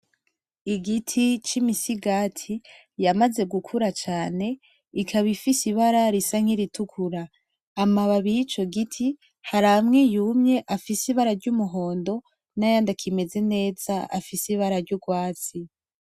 Igiti cimisigati yamaze gukura cane ikaba ifise ibara risa nkiritukura amababi yico giti haramwe yumye afise ibara ry'umuhondo nayandi akimeze neza afise ibara ry'urwatsi